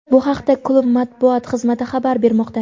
Bu haqda klub Matbuot xizmati xabar bermoqda.